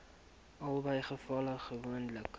albei gevalle gewoonlik